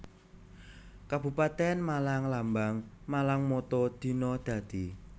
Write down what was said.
Kabupatèn MalangLambang MalangMotto Dina Dadi